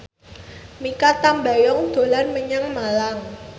Mikha Tambayong dolan menyang Malang